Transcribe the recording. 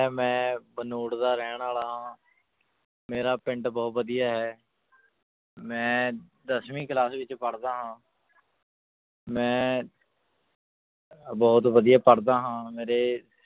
ਮੈਂ ਭਨੋੜ ਦਾ ਰਹਿਣ ਵਾਲਾ ਹਾਂ ਮੇਰਾ ਪਿੰਡ ਬਹੁਤ ਵਧੀਆ ਹੈ ਮੈਂ ਦਸਵੀਂ class ਵਿੱਚ ਪੜ੍ਹਦਾ ਹਾਂ ਮੈਂ ਅਹ ਬਹੁਤ ਵਧੀਆ ਪੜ੍ਹਦਾ ਹਾਂ ਮੇਰੇ